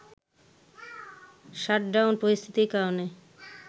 shutdown পরিস্থিতির কারণে